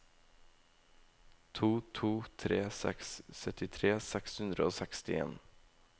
to to tre seks syttitre seks hundre og sekstien